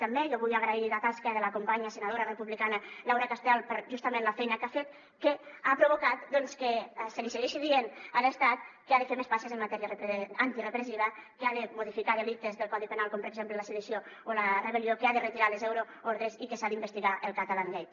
jo vull agrair la tasca de la companya senadora republicana laura castel per justament la feina que ha fet que ha provocat que se li segueixi dient a l’estat que ha de fer més passes en matèria antirepressiva que ha de modificar delictes del codi penal com per exemple la sedició o la rebel·lió que ha de retirar les euroordres i que s’ha d’investigar el catalangate